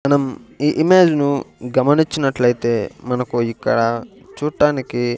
మనం ఈ ఇమేజ్ ను గమనించినట్లయితే మనకు ఇక్కడ చూట్టానికి--